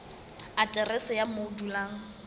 aterese ya moo o dulang